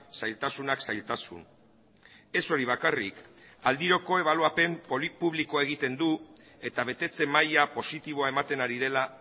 zailtasunak zailtasun ez hori bakarrik aldiroko ebaluapen polit publikoa egiten du eta betetze maila positiboa ematen ari dela